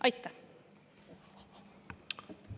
Aitäh!